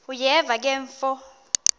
uyeva ke mfo